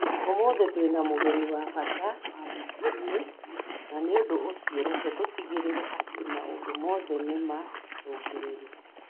Ũmũthĩ tũrĩ na mũgeni wa bata wabici-inĩ, na nĩ ũndũ ũcio reke tũtigĩrĩre atĩ maũndũ mothe nĩ marũngĩrĩru